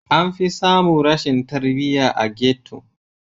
Anfi samun rashin tarbiya a ghetto.